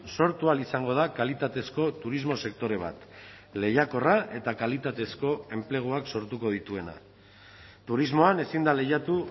sortu ahal izango da kalitatezko turismo sektore bat lehiakorra eta kalitatezko enpleguak sortuko dituena turismoan ezin da lehiatu